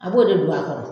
A b'o de don a kɔrɔ